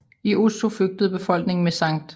I Oslo flygtede befolkningen med Skt